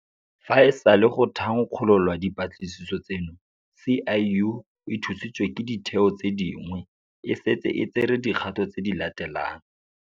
Fa e sale go thankgololwa dipatlisiso tseno, SIU, e thusiwa ke ditheo tse dingwe, e setse e tsere dikgato tse di latelang.